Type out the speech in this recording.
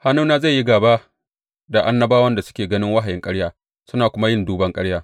Hannuna zai yi gāba da annabawan da suke ganin wahayin ƙarya suna kuma yin duban ƙarya.